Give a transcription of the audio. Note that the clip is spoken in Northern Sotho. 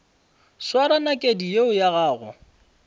swara nakedi yeo ya gago